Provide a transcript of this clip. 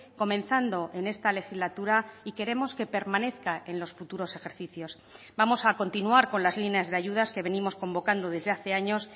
comenzando en esta legislatura y queremos que permanezca en los futuros ejercicios vamos a continuar con las líneas de ayudas que venimos convocando desde hace años